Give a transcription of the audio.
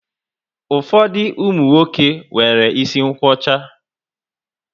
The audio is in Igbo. Ụfọdụ umunwoke nwéré isi nkwocha